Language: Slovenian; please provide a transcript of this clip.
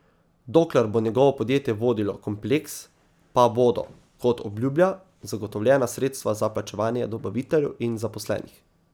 Dokler bo njegovo podjetje vodilo kompleks, pa bodo, kot obljublja, zagotovljena sredstva za plačevanje dobaviteljev in zaposlenih.